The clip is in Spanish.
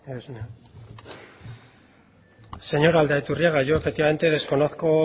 señor aldaiturriaga yo efectivamente desconozco